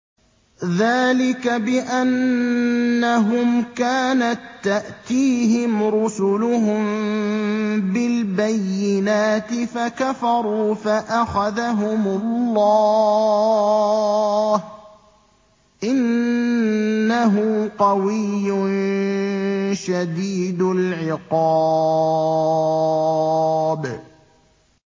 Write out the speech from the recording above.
ذَٰلِكَ بِأَنَّهُمْ كَانَت تَّأْتِيهِمْ رُسُلُهُم بِالْبَيِّنَاتِ فَكَفَرُوا فَأَخَذَهُمُ اللَّهُ ۚ إِنَّهُ قَوِيٌّ شَدِيدُ الْعِقَابِ